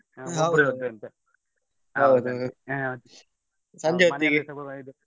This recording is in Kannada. ಹೌದು ಹಾ ಸಂಜೆ ಹೊತ್ತಿಗೆ.